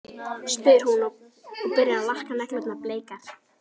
spyr hún og byrjar að lakka neglurnar bleikar.